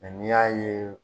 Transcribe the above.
Nka n'iy'a ye.